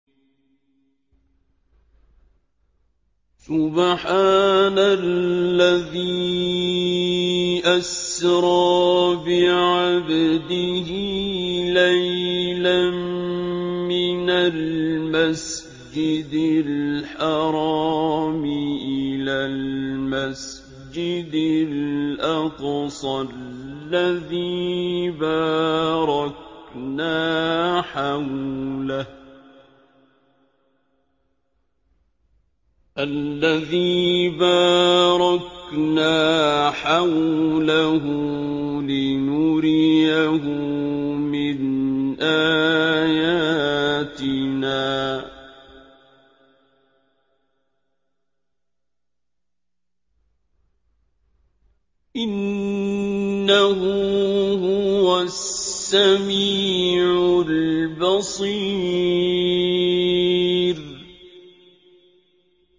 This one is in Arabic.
سُبْحَانَ الَّذِي أَسْرَىٰ بِعَبْدِهِ لَيْلًا مِّنَ الْمَسْجِدِ الْحَرَامِ إِلَى الْمَسْجِدِ الْأَقْصَى الَّذِي بَارَكْنَا حَوْلَهُ لِنُرِيَهُ مِنْ آيَاتِنَا ۚ إِنَّهُ هُوَ السَّمِيعُ الْبَصِيرُ